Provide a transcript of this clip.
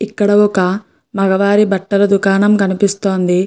ఇక్కడ ఒక మగవారి బట్టల దుకాణం కనిపిస్తోంది.